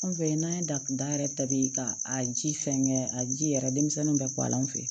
An fɛ yen n'an ye datuguda yɛrɛ ta bi ka a ji fɛnkɛ a ji yɛrɛ denmisɛnninw bɛ kɔ la an fɛ